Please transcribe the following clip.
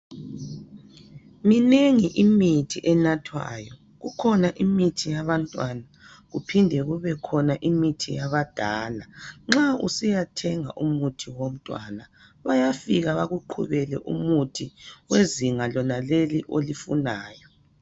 Minengi imithi enathwayo kukhona imithi yabantwana kuphinde kube khona imithi yabadala nxa usiyathenga umuthi owomntwana bayafika bakuqhubele umuthi wezinga lonaleli olifunayo